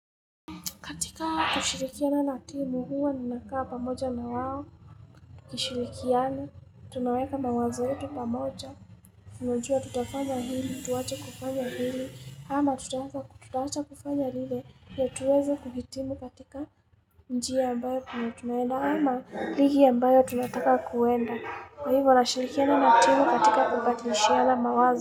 Katika kushirikiana na timu huwa nina kaa pamoja na wao, kushirikiana, tunaweka mawazo yetu pamoja, tunajua tutafanya hili, tuwache kufanya hili, ama tutawacha kufanya lile ndio tuweze kuhitimu katika njia ambayo tunaelewana ili tunataka kuenda. Kwa hivyo nashirikiana na timu katika kupatilishiana mawazo.